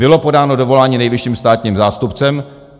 Bylo podáno dovolání nejvyšším státním zástupcem.